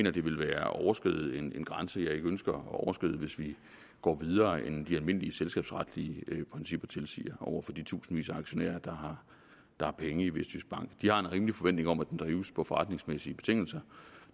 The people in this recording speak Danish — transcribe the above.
at det ville være at overskride en grænse jeg ikke ønsker at overskride hvis vi går videre end de almindelige selskabsretlige principper tilsiger over for de tusindvis af aktionærer der har penge i vestjyskbank de har en rimelig forventning om at den drives på forretningsmæssige betingelser